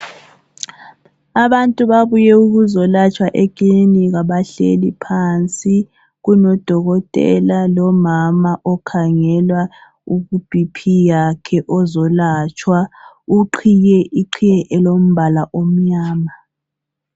Abantu babuye ukuzolatshwa ekilinika bahlezi phansi. Kulodokotela lomama okhangelwa ibhiphi yakhe ozolatshwa uqhiye iqhiye elombala emnyama.